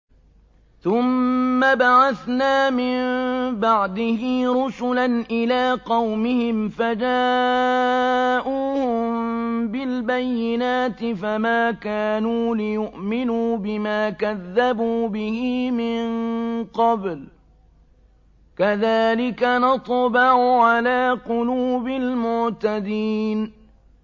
ثُمَّ بَعَثْنَا مِن بَعْدِهِ رُسُلًا إِلَىٰ قَوْمِهِمْ فَجَاءُوهُم بِالْبَيِّنَاتِ فَمَا كَانُوا لِيُؤْمِنُوا بِمَا كَذَّبُوا بِهِ مِن قَبْلُ ۚ كَذَٰلِكَ نَطْبَعُ عَلَىٰ قُلُوبِ الْمُعْتَدِينَ